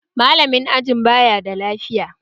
Malamin ajin baya da lafiya